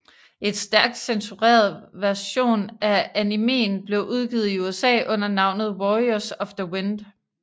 En stærkt censureret version af animéen blev udgivet i USA under navnet Warriors of the Wind